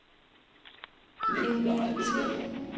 Emine Timm